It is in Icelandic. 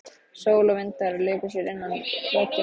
Sól og vindar léku sér innan veggja.